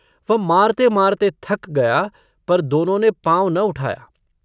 वह मारते-मारते थक गया पर दोनों ने पाँव न उठाया।